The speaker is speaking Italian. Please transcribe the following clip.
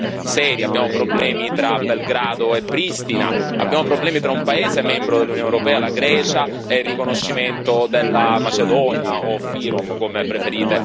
Abbiamo problemi tra Belgrado e Pristina, abbiamo problemi tra un paese membro dell'Unione europea, la Grecia, e il riconoscimento della Macedonia, o FYROM come preferite chiamarla voi.